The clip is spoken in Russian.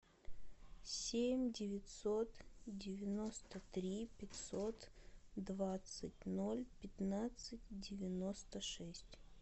семь девятьсот девяносто три пятьсот двадцать ноль пятнадцать девяносто шесть